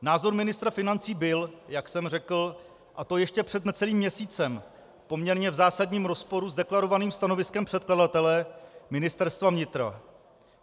Názor ministra financí byl, jak jsem řekl, a to ještě před necelým měsícem, v poměrně zásadním rozporu s deklarovaným stanoviskem předkladatele, Ministerstva vnitra.